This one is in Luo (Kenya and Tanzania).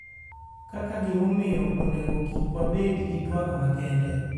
kaka gimomiyo onego kik wabed gi twak makende.